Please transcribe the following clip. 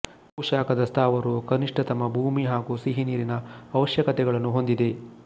ಭೂಶಾಖದ ಸ್ಥಾವರವು ಕನಿಷ್ಟತಮ ಭೂಮಿ ಹಾಗೂ ಸಿಹಿನೀರಿನ ಅವಶ್ಯಕತೆಗಳನ್ನು ಹೊಂದಿದೆ